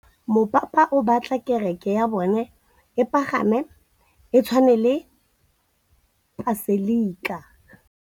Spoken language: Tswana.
Mopapa o batla kereke ya bone e pagame, e tshwane le paselika.